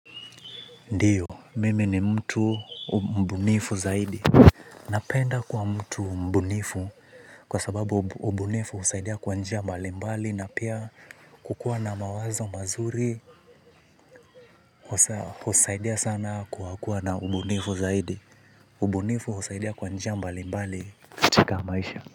Ndiyo, mimi ni mtu mbunifu zaidi. Napenda kuwa mtu mbunifu kwa sababu ubunifu husaidia kwa njia mbali mbali na pia kukua na mawazo mazuri husaidia sana kwa kuwa na ubunifu zaidi ubunifu husaidia kwa njia mbali mbali katika maisha.